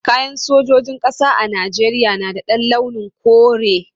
Kayan sojojin ƙasa a Najeriya na da launin kore.